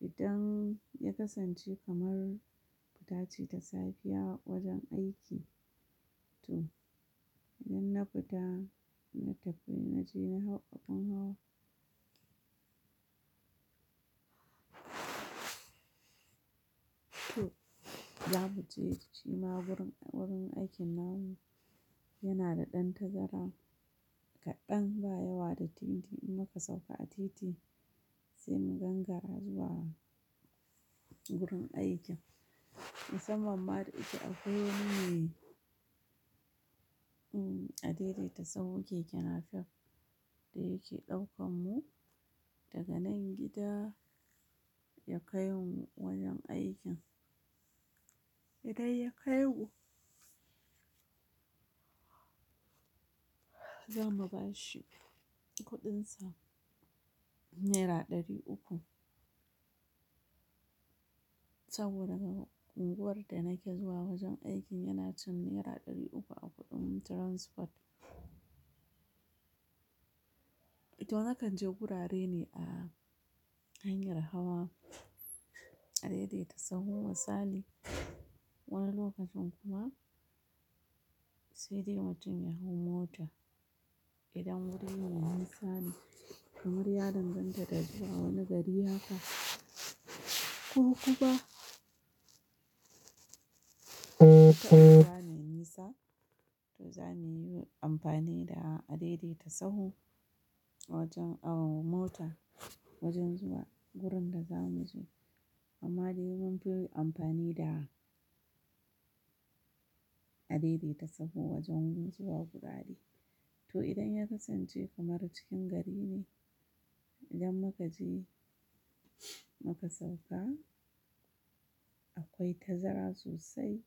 idan ya kasance kamar fitaci da safiya wajen aiki to idan na fita na tafi na je na hau abin hawa. To, za mu je shima wurin, wurin aikin namu yana da ɗan tazara kaɗan ba yawa da titi in muka sauka a titi sai mu gangara zuwa wurin aikin. Musamman ma da yake a kwai wani me adaidaitasu keke napef da yake ɗaukan mu daga nan gida ya kai mu wajen aikin. Idan ya kai mu, za mu bashi kuɗinsa naira ɗari uku. Saboda ga unguwar da nake zuwa wajen aikin yana cin naira ɗari uku a kuɗin transport. To, nakan je gurare ne a hanyar hawa adaidaitasahu misali. Wani lokacin kuma sai dai mutum ya hau mota idan wurin ya yi nisa ne. Kamar ya danganta da zuwa wani gari haka ko kuma gida ne nisa to za mu yi amfani da adaidaitasahi wajen awu mota wajen zuwa wurin da za mu je. Amma dai mun fi amfani da adaidatasahu wajen zuwa gurare. To, idan ya kasance kamar cikin gari ne idan muka je muka sauka akwai tazara sosai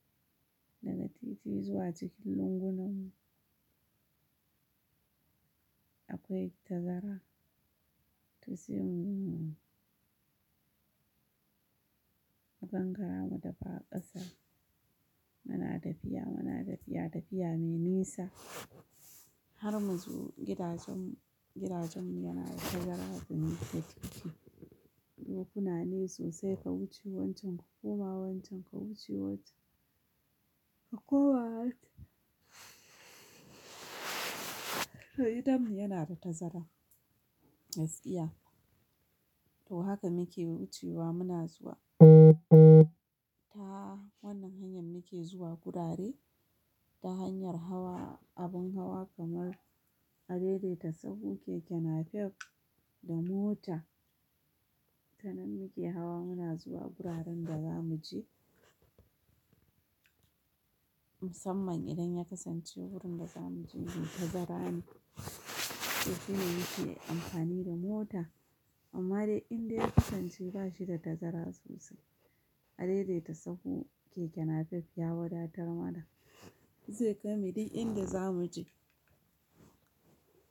daga titi zuwa cikin lungun nan. Akwai tazara to sai mu gangara mu dafa ƙasa. Muna tafiya, muna tafiya tafiya mai nisa har mu zo gidajen, gidajen mu yana da tazara zumunkadaki. Dokuna ne sosai ka wuce wancan ka koma wancan ka wuce wancen Ka koma wancen To, gidanmu da tazara gaskiya to haka muke wucewa muna zuwa. Ta wannan hanyar muke zuwa gurare ta hanyar hawa abin hawa kamar adaidatasahu keke napef da mota. Tananan muke hawa muna zuwa guraren da za mu je. Musamman idan ya kasance wurin da za mu je shi tazara ne sai shine muke amfani da mota. Amma dai inda ya kasance bashi da tazara sosai adaidaitasahu keke napef ya wadatar mana zai kai mu dak inda za mu je.